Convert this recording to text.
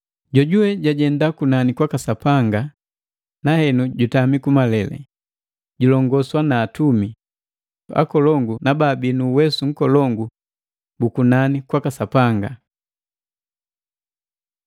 jojuwe jajenda kunani kwaka Sapanga na henu jutami kumalele, julongoswa na Atumi, akolongu na baabii nu uwesu nkolongu bu kunani kwaka Sapanga.